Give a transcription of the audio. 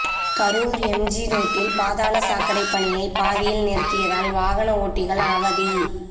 Karur MG ரோட்டில் பாதாள சாக்கடை பணியை பாதியில் நிறுத்தியதால் வாகன ஓட்டிகள் அவதி